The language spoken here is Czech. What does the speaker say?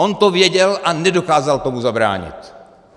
On to věděl a nedokázal tomu zabránit.